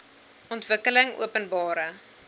ontwikkelingopenbare